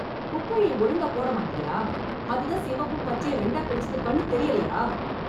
குப்பையை ஒழுங்கா போட மாட்டியா அதுதான் சிவப்பு பச்சை ரெண்டா பிரிச்சது கண்ணு தெரியலையா?